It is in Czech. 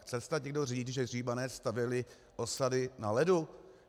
Chce snad někdo říct, že Římané stavěli osady na ledu?